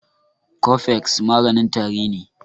Cofex maganin tari ne